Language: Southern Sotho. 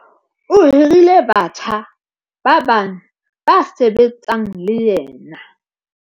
O hirile batjha ba bane ba sebetsang le yena.